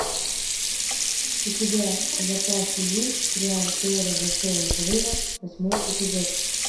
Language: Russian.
у тебя в запасе есть сериал теория большого взрыва восьмой эпизод